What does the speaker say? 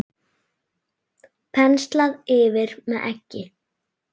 Penslað yfir með eggi.